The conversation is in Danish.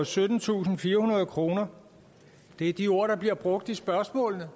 syttentusinde og firehundrede kroner det er de ord der bliver brugt i spørgsmålene